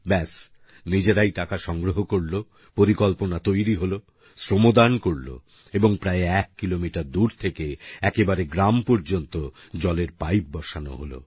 ব্যাস নিজেরাই টাকা সংগ্রহ করলো পরিকল্পনা তৈরি হলো শ্রমদান করলো এবং প্রায় এক কিলোমিটার দূর থেকে একেবারে গ্রাম পর্যন্ত জলের পাইপ বসানো হলো